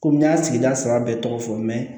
Komi n y'a sigi da saba bɛɛ tɔgɔ fɔ